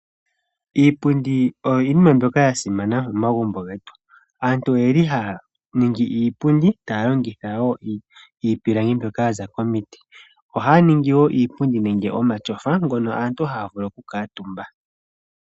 Iipundi oyo iinima mbyoka ya simana momagumbo getu. Aantu oye li haya ningi iipundi taya longitha wo iipilangi mbyoka ya za komiti oha ya ningi wo iipundi nenge omatyofa ngono aantu haya vulu okukutumba.